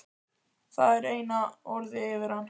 Það var eina orðið yfir hann.